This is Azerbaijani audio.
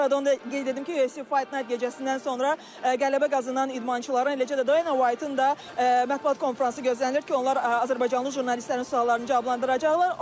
Bu arada onu da qeyd edim ki, UFC Fight Night gecəsindən sonra qələbə qazanan idmançıların, eləcə də Dana White-ın da mətbuat konfransı gözlənilir ki, onlar azərbaycanlı jurnalistlərin suallarını cavablandıracaqlar.